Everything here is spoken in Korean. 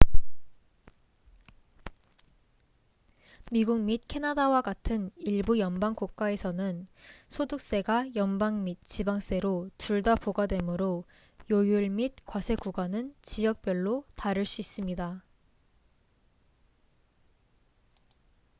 미국 및 캐나다와 같은 일부 연방 국가에서는 소득세가 연방 및 지방세로 둘 다 부과되므로 요율 및 과세구간은 지역별로 다를 수 있습니다